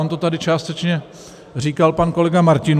On to tady částečně říkal pan kolega Martinů...